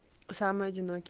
самый одинокий